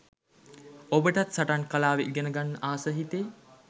ඔබටත් සටන් කලාව ඉගෙන ගන්න ආස හිතෙයි.